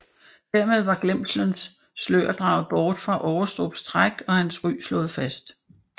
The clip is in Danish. Hermed var glemselens slør draget bort fra Aarestrups træk og hans ry slået fast